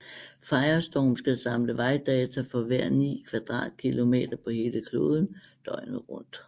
Firestorm skal samle vejrdata for hver ni kvadratkilometer på hele kloden døgnet rundt